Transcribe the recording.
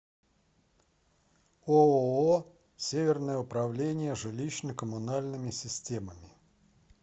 ооо северное управление жилищно коммунальными системами